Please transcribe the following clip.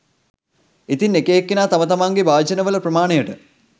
ඉතින් එක එක්කෙනා තම තමන්ගේ භාජනවල ප්‍රමාණයට